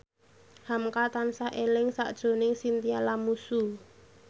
hamka tansah eling sakjroning Chintya Lamusu